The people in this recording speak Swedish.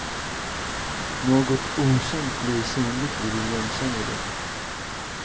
Något okänt blir synligt i det igenkännliga.